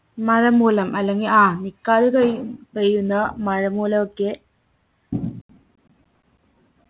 മഴ മൂലം അല്ലെങ്കിൽ ആ നിക്കാതെ പെയ്യു പെയ്യുന്ന മഴമൂലൊ ഒക്കെ